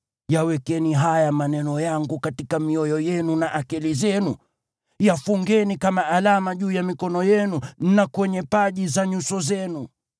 Yawekeni haya maneno yangu katika mioyo yenu na akili zenu, yafungeni kama alama juu ya mikono yenu na kwenye paji za nyuso zenu.